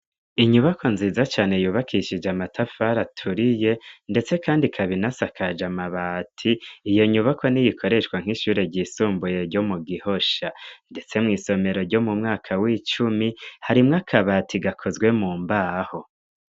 inyubako nziza cane yubakishije amatafari aturiye ndetse kandi ikabinasakaja mabati iyo nyubako niyikoreshwa nk'ishure ry'isumbuye ryo mu gihosha ndetse mw' isomero ryo mumwaka w'icumi harimwe akabati gakozwe mu mbaho